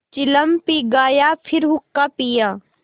चिलम पी गाया फिर हुक्का पिया